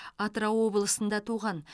атырау облысында туған